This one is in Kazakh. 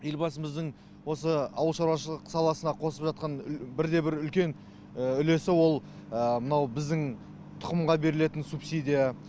елбасымыздың осы ауыл шаруашылық саласына қосып жатқан бірде бір үлкен үлесі ол мынау біздің тұқымға берілетін субсидия